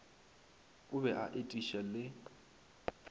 o be a etiša le